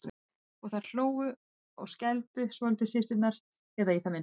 Og þær hlógu og skældu svolítið systurnar, eða í það minnsta